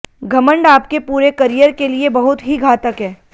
घमंड आपके पूरे करियर के लिए बहुत ही घातक है